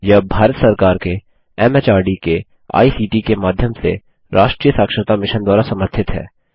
यह भारत सरकार के एमएचआरडी के आईसीटी के माध्यम से राष्ट्रीय साक्षरता मिशन द्वारा समर्थित है